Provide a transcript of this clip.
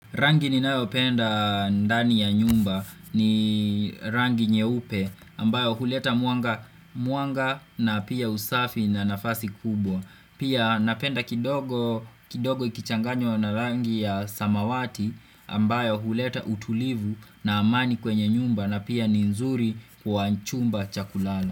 Rangi ninayopenda ndani ya nyumba ni rangi nyeupe ambayo huleta mwanga na pia usafi na nafasi kubwa. Pia napenda kidogo kidogo ikichanganywa na rangi ya samawati ambayo huleta utulivu na amani kwenye nyumba na pia nzuri kwa chumba cha kulala.